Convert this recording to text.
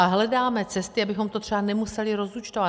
A hledáme cesty, abychom to třeba nemuseli rozúčtovat.